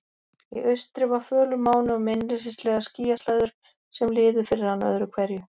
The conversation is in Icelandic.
Í austri var fölur máni og meinleysislegar skýjaslæður sem liðu fyrir hann öðru hverju.